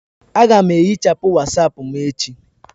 Aga m ehichapụ Wasapu m echi..